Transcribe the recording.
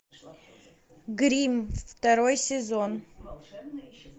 гримм второй сезон